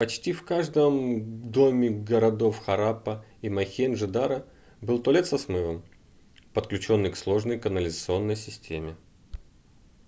почти в каждом доме городов хараппа и мохенджо-даро был туалет со смывом подключённый к сложной канализационной системе